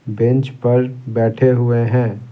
Bench पर बैठे हुए हैं।